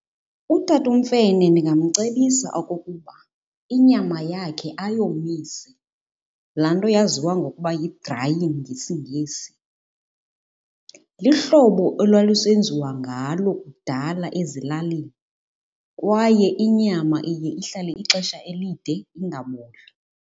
Utata uMfene ndingamcebisa okokuba inyama yakhe ayomise, laa nto yaziwa ngokuba yi-drying ngesiNgesi. Lihlobo elwalusenziwa ngalo kudala ezilalini kwaye inyama iye ihlale ixesha elide ingaboli.